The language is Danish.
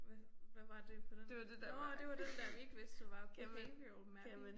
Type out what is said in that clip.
Hvad hvad var det på den nåh det var den der vi ikke vidste hvad var. Behavioral mapping